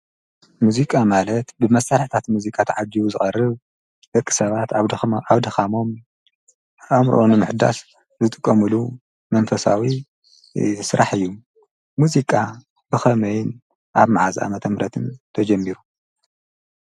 ሙዚቃ ማለት ብመሳርሕታት ሙዚቃ ተዓጅቡ ዝቕርብ ደቂ ሰባት ኣብደኻሞም ኣእምሮኦም ንምሕዳስ ዝጥቖምሉ መንፈሳዊ ዝስራሕ እዩ። ሙዚቃ ብኸመይን ኣብ መዓዝ ኣመተ ምህረትን ተጀሚሩ?